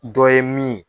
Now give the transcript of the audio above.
Dɔ ye min ye